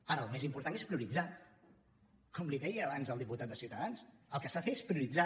ara el més important és prioritzar com li deia abans al diputat de ciutadans el que s’ha de fer és prioritzar